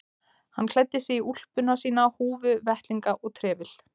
Hann klæddi sig í úlpuna sína, húfu, vettlinga og trefil.